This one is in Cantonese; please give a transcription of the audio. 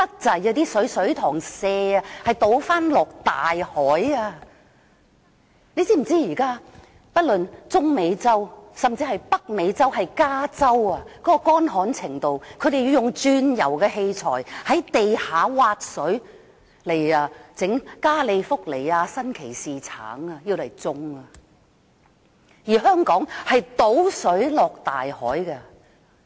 政府是否知道現在中美洲以至北美洲的加州都十分乾旱，當地人甚至要用鑽油器材從地底挖水，種植加利福尼亞新奇士橙，而香港卻把食水倒進大海。